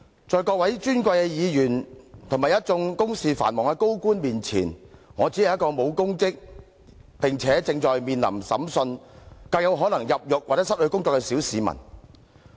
在各位尊貴的立法會議員和一眾公事繁忙的高官面前，我只是一名沒有任何公職，且正面臨審訊，更有可能入獄和失去工作的小市民。